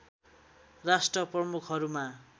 राष्ट्र प्रमुखहरूमा